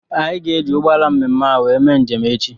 Anyị ga-eji ụgbọala mme mme ahụ wee mee njem echi.